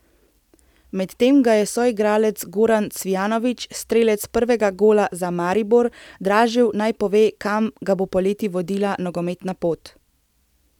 Medtem ga je soigralec Goran Cvijanović, strelec prvega gola za Maribor, dražil, naj pove, kam ga bo poleti vodila nogometna pot.